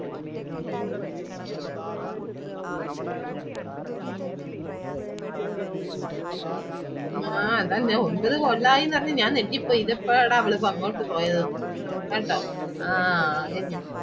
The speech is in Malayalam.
മ്മ് അതാ ഞാൻ ഒൻപത് കൊല്ലായി അറിഞ്ഞു ഞാൻ ഞെട്ടിപോയി ഇതേപ്പാട അവൾ അങ്ങോട്ട് പോയതെന്ന് കേട്ടാ